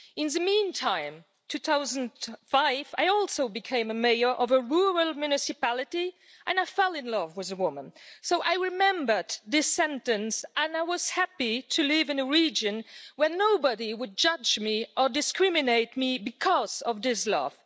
In the meantime, 2005, I also became a mayor of a rural municipality and I fell in love with a woman, so I remembered this sentence and I was happy to live in a region where nobody would judge me or discriminate against me because of this love.